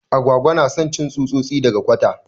Agwagwa na son cin tsutsosi daga kwata.